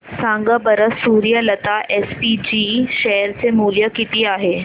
सांगा बरं Suryalata SPG share चे मूल्य किती आहे